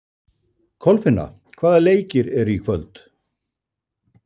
Kolfinna, hvaða leikir eru í kvöld?